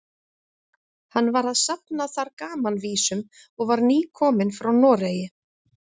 Hann var að safna þar gamanvísum og var nýkominn frá Noregi.